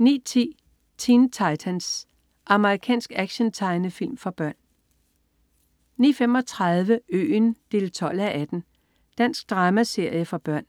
09.10 Teen Titans. Amerikansk actiontegnefilm for børn 09.35 Øen 12:18. Dansk dramaserie for børn